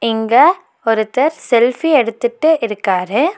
இங்க ஒருத்தர் செல்ஃபி எடுத்துட்டு இருக்காரு.